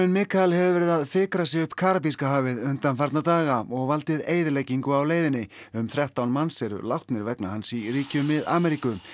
Mikael hefur verið að fikra sig upp Karabíska hafið undanfarna daga og valdið eyðileggingu á leiðinni um þrettán manns eru látnir vegna hans í ríkjum Mið Ameríku